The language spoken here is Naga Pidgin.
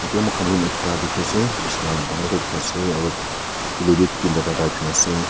tia muikhan room ekta dikhiase bishna dangor toh dikhi ase aro pillow wi tinta charta rakhina ase.